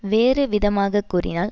வேறுவிதமாக கூறினால்